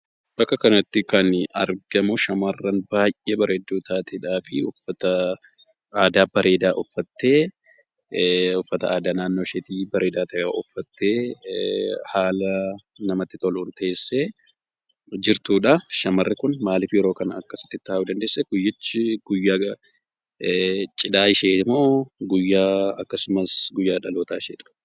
Bakka kanatti kan argamu shamarraan baay'ee bareedduu taateedha fi uffata aadaa bareeeda uffatte uffata aadaa naannoo isheeti bareeda tahe uffatte haala namatti toluun teessee jirtudha.